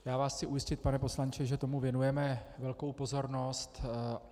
Já vás chci ujistit, pane poslanče, že tomu věnujeme velkou pozornost.